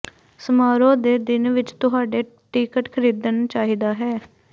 ਸਮਾਰੋਹ ਦੇ ਦਿਨ ਵਿਚ ਤੁਹਾਡੇ ਟਿਕਟ ਖਰੀਦਣ ਚਾਹੀਦਾ ਹੈ